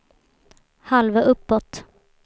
halva uppåt